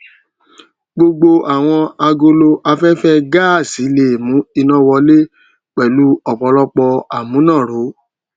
gbógbó àwọn agolo aféfé gáàsì lè mú iná wọlé pèlú òpòlọpò àmúnáró